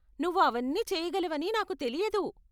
నువ్వు అవన్నీ చేయగలవని నాకు తెలియదు.